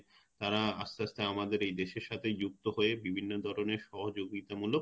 তারা আস্তে আস্তে আমাদের এই দেশের সাথে যুক্ত হয়ে বিভিন্ন ধরনের সহযোগিতা মুলক;